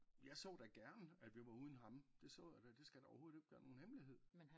Jeg så da gerne at vi var uden ham det så jeg da det skal da overhovedet ikke være nogen hemmelighed